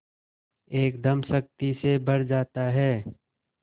एकदम शक्ति से भर जाता है